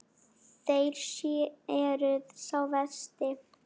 Þér eruð sá versti.